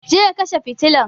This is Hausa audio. Je ka kashe fitilan!